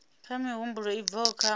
kha mihumbulo i bvaho kha